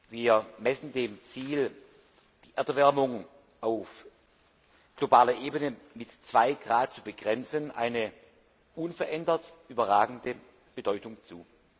Wir messen dem Ziel, die Erderwärmung auf globaler Ebene mit 2°C zu begrenzen, eine unverändert überragende Bedeutung zu.